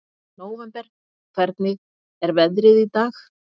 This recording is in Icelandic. Nóvember, hvernig er veðrið í dag?